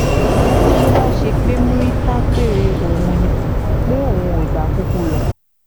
ó ní bó bá ṣe pé murità pé òun ni pé òun ìbá kúkú lọ